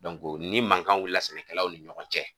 ni mankan wulila sɛnɛkɛlaw ni ɲɔgɔn cɛ.